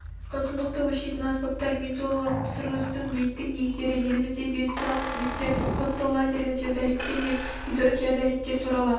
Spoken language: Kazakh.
ұзындықты өлшейтін аспаптар мензулалық түсірістің биіктік негіздері еліміздегі геодезиялық қызметтер кодты лазерлі теодолиттер мен гиротеодолиттер туралы